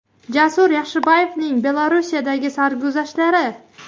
Jasur Yaxshiboyevning Belarusdagi sarguzashtlari.